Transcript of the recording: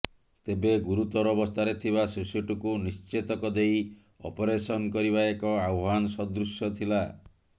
ତେବେ ଗୁରୁତର ଅବସ୍ଥାରେ ଥିବା ଶିଶୁଟିକୁ ନିଶ୍ଚେତକ ଦେଇ ଅପରେସନ୍ କରିବା ଏକ ଆହ୍ୱାନ ସଦୃଶ୍ୟ ଥିଲା